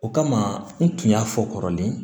O kama n tun y'a fɔ kɔrɔlen